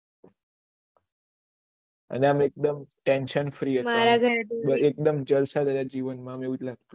અને આનું tension free એક્દુમ જલસા ભર જીવન એવું લાગતું